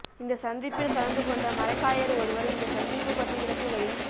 இந்த சந்திப்பில் கலந்துகொண்ட மரைக்காயர் ஒருவர் இந்த சந்திப்பு பற்றி விளக்குகையில்